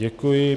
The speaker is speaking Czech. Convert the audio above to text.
Děkuji.